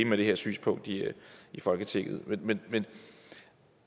med det her synspunkt i folketinget men et